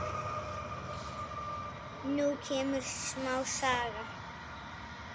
Nú kemur smá saga.